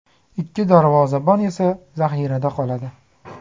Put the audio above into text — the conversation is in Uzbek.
Ikki darvozabon esa zaxirada qoladi.